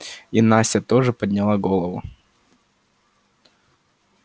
и настя тоже подняла голову